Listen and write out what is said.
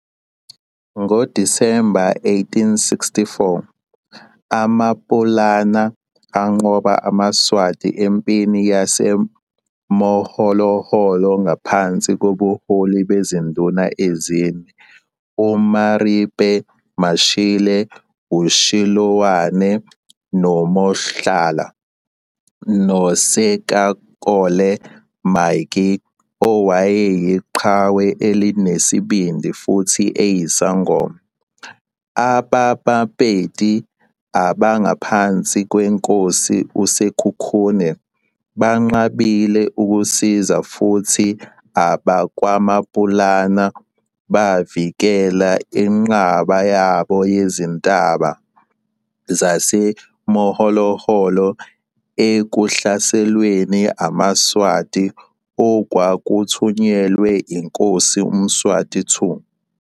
NgoDisemba 1864, aMaPulana anqoba amaSwazi empini yaseMoholoholo ngaphansi kobuholi bezinduna ezine, uMaripe Mashile, uChiloane noMohlala, noSekakole Maatjie owayeyiqhawe elinesibindi futhi eyisangoma. AbaBaPedi abangaphansi kweNkosi uSekhukhune benqabile ukusiza futhi abakwaMapulana bavikela inqaba yabo yezintaba zaseMoholoholo ekuhlaselweni amaSwazi okwakuthunyelwe yiNkosi uMswati II.